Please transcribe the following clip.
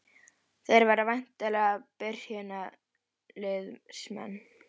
Þeir verða væntanlega byrjunarliðsmenn?